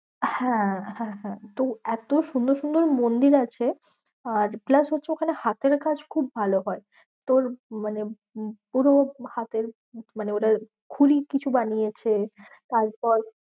হ্যাঁ হ্যাঁ হ্যাঁ তো এত সুন্দর সুন্দর মন্দির আছে আর plus হচ্ছে ওখানে হাতের কাজ খুব ভালো হয়। তোর মানে পুরো হাতের মানে ওদের খুড়ি কিছু বানিয়েছে। তারপর